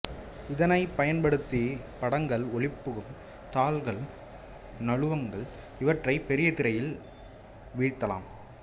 இதனை பயன்படுத்தி படங்கள் ஒளிபுகும் தாள்கள் நழுவங்கள் இவற்றை பெரிய திரையில் வீழ்த்தலாம்